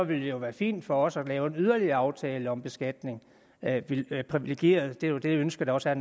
det jo være fint for os at lave en yderligere aftale om beskatning af de privilegerede det er jo det ønske der også er